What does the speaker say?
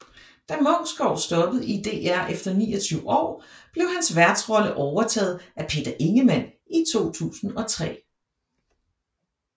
Da Munksgaard stoppede i DR efter 29 år blev hans værtsrolle overtaget af Peter Ingemann i 2003